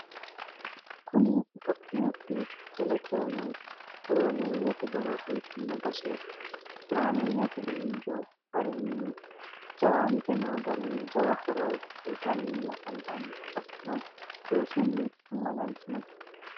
kuni itophiyu iteo telekome horoomeyyete horo uyitanno baseti. horameyyete injino garinni jawante noo garinni jawa horo uyitanni afantanno. hattonni loosunni amanantinote.